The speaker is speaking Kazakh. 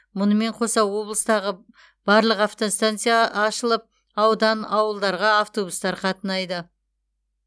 мұнымен қоса облыстағы барлық автостанция ашылып аудан ауылдарға автобустар қатынайды